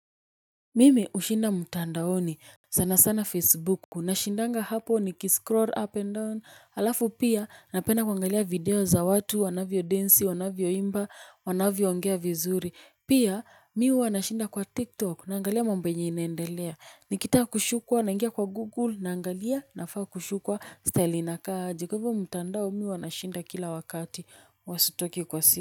Mimi hushinda mtandaoni sana sana facebook nashindanga hapo nikiscroll up and down halafu pia napenda kuangalia video za watu wanavyo densi wanavyo imba wanavyo ongea vizuri pia mi huwa nashinda kwa tiktok nangalia mambo yenye inaendelea nikitaka kushukwa naingia kwa google naangalia nafaa kushukwa style inakaaji kwa ivo mutandao mi uwanashinda kila wakati huwa sitoki kwa si.